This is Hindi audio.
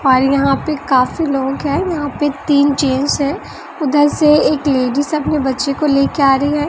और यहां पे काफी लोग हैं यहां पे तीन चेयर्स हैं उधर से एक लेडीज अपने बच्चे को ले के आ रही है।